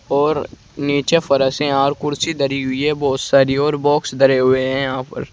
और नीचे फर्श और कुर्सी धरी हुई है बहुत सारी और बॉक्स धरे हुए हैं यहां पर।